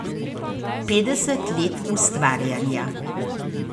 Petdeset let ustvarjanja.